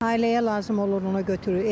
Ailəyə lazım olur, ona görə götürür.